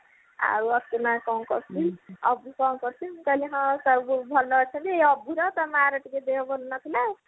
ଆଉ ଆସୁନା କଣ କରୁଛି ଅଭି କଣ କରୁଛି ମୁଁ କହିଲି ହଁ ସବୁ ଭଲ ଅଛନ୍ତି ଏଇ ଅଭୀର ଟା ମା ର ଟିକେ ଦେହ ଭଲ ନଥିଲା